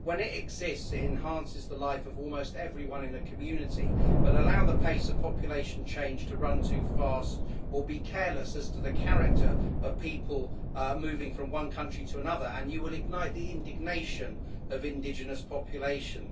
When it exists, it enhances the life of almost everyone in a community, but allow the pace of population change to run too fast or be careless as to the character of people moving from one country to another and you will ignite the indignation of indigenous populations.